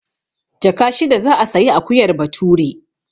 Jaka shida za a sayi akuyar Bature.